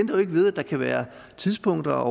jo ikke ved at der kan være tidspunkter